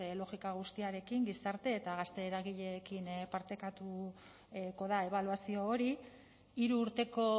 logika guztiarekin gizarte eta gazte eragileekin partekatuko da ebaluazio hori hiru urteko